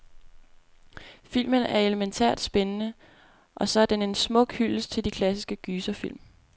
Filmen er elemæntært spændende, og så er den en smuk hyldest til de klassiske gyserfilm.